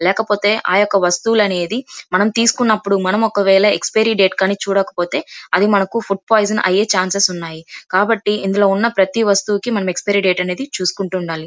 లేకపోతె ఆ వస్తువులు అనేది మనము తీసుకున్నప్పుడు మనం ఒకవేళ ఎక్సపెరి డేట్ కానీ మనము చూడక పొతే అది మనకు ఫుడ్ పోయీజాన్ అయ్యే ఛాన్సెస్ ఉన్నాయి కాబట్టి ఇందులో ఉన్న ప్రతి వస్తువుకి మనం ఎక్సపీరి డేట్ అనేది చూసుకుంటూ ఉండాలి.